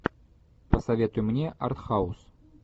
посоветуй мне артхаус